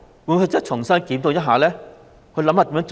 會否重新檢討一下，想出更好的做法？